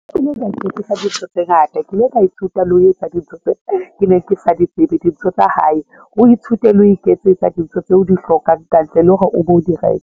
Ke le ka ithutisa dintho tse ngata, ke ile ka ithuta le ho etsa dintho tseo ke ne ke sa di tsebe dintho tsa hae, o ithute le ho iketsetsa dintho tseo o di hlokang kantle le hore o be o di reke.